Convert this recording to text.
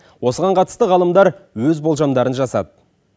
осыған қатысты ғалымдар өз болжамдарын жасады